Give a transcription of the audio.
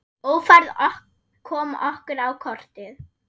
Ófærð kom okkur á kortið.